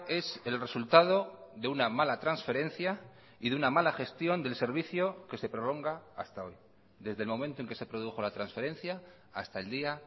es el resultado de una mala transferencia y de una mala gestión del servicio que se prolonga hasta hoy desde el momento en que se produjo la transferencia hasta el día